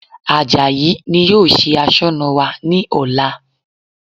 Àjàyí ni yóò ṣe Aṣọ́nà wa ní ọ̀la